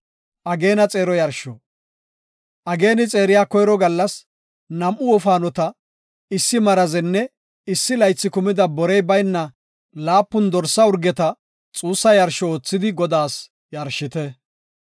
“Ageeni xeeriya koyro gallas nam7u wofaanota, issi marazenne issi laythi kumida borey bayna laapun dorsa urgeta xuussa yarsho oothidi Godaas yarshite.